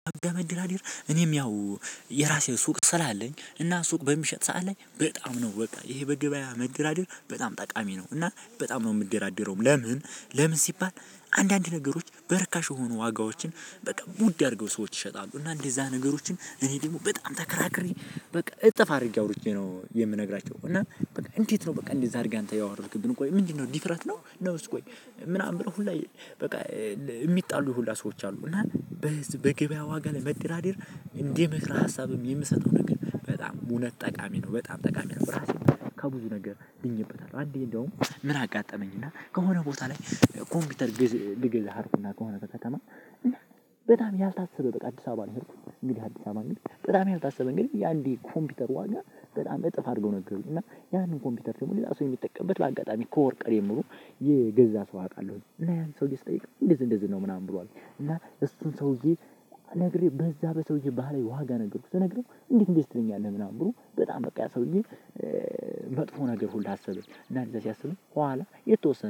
መደራደር እኔም ያው የራሴ ሱቅ ስላለኝ እና ሱቅ በምሸጥ ሰዓት ላይ በጣም ነው በቃ ይሄ በገበያ መደራደር በጣም ጠቃሚ ነው፤ እና በጣም ነው የምደራደረውም። ለምን ለምን ሲባል አንዳንድ ነገሮች በርካሽ የሆኑ ዋጋዎችን በቃ ውድ አድርገው ሰዎች ይሸጣሉ፤ እና እንደዛ ነገሮችን እኔ ደግሞ በጣም ተከራክሬ በቃ እጥፍ አድርጌ አውርጄ ነው የምነግራቸው እና በቃ እንዴት ነው በቃ እንደዚህ አድርገህ አንተ ያወርድክብን ቆይ ምንድነው ድፍረት ነው? ነውስ ቆይ ምናምን ሁላ በቃ የሚጣሉ ሁላ ሰዎች አሉ። እና። በገበያ ዋጋ ላይ መደራደር እንደ ምክረህ ሀሳብም የምሰጠው ነገር በጣም እውነት ጠቃሚ ነው በጣም ጠቃሚ ነው። ራሴም ከብዙ ነገር ድኜበታለሁ አንዴ እንደውም ምን አጋጠመኝ እና ከሆነ ቦታ ላይ። ኮምፒውተር ግዝ ልገዛ ሄድኩኝና ከሆነ ከከተማ በጣም ያልታሰበ በቃ አዲስ አበባ ነው። የሄድኩ እንግዲህ አዲስ አበባ እንግዲህ በጣም ያልታሰበ እንግዲህ የአንድ የኮምፒውተር ዋጋ በጣም እጥፍ አድርገው ነገሩኝ እና ያንን ኮምፒውተር ደግሞ ሌላ ሰው የሚጠቀምበት በአጋጣሚ ኮወርቅ ጀምሮ የገዛ ሰው አውቃለሁኝ። እና ሰውዬ ስጠይቅ እንደዚህ እንደዚህ ነው ምናምን ብሎ አለኝ። እና እሱን ሰውዬ። አናግሬ በዛ በሰውዬ ባህላዊ ዋጋ ነገርኩት ስነግረው እንዴት እንደዚህ ትለኛለህ ምናምን ብሎ በጣም በቃ ያ ሰውዬ። መጥፎ ነገር ሁላ አሰብኩኝ እና እንደዛ ሲያስብኝ ኋላ የተወሰነ